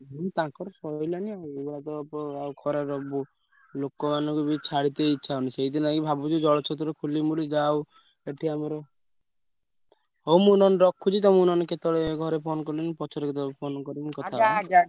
ହୁଁ ତାଙ୍କର ସଇଲାଣି ଆଉ ଏଇଭଳିଆ ତ ଆଉ ଖରାରେ ଲୋକମାନଙ୍କୁ ବି ଛାଡିତେ ଇଚ୍ଛା ହଉନି। ସେଇଥିଲାଗି ଭାବୁଛୁ ଜଳଛତ୍ର ଖୋଲିବୁ ବୋଲି ଯାହା ହଉ ଏଠି ଆମର ହଉ ମୁଁ ନହେଲେ ରଖୁଛି ତମୁକୁ ନହେଲେ କେତବେଳେ ଘରେ phone କଲେଣି ପଛରେ କେତବେଳେ phone କରିବି ।